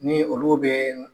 Ni olu bɛ